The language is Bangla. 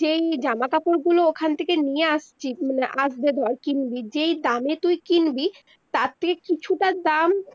যেই জামা কাপড় গুলো ওখান থেকে নিয়ে আসছিস মানে আসবে ধর কিনবি যেই দামে তুই কিনবি তার থেকে কিছুটা দাম